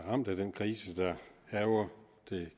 ramt af den krise der hærger det